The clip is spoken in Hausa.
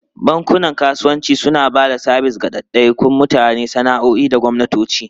Bankunan kasuwanci suna ba da sabis ga daidaikun mutane, sana'o'i da gwamnatoci.